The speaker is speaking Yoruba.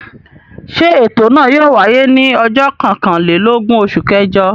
Ṣé ètò náà yóò wáyé ní ọjọ́ kọkànlélógún oṣù kẹjọ?